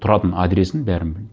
тұратын адресін бәрін білемін